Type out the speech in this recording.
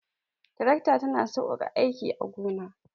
Tarakta ta na saukaka aiki a gona